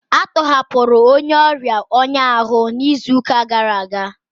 A tọhapụrụ onye ọrịa ọnya ahụ n'izu gara aga